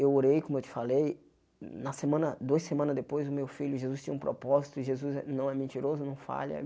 Eu orei, como eu te falei, na semana duas semanas depois o meu filho Jesus tinha um propósito e Jesus não é mentiroso, não falha.